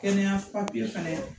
Kɛnɛya papiye fɛnɛ